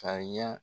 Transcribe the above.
Ka ɲa